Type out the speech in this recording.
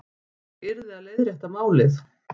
Ég yrði að leiðrétta málið.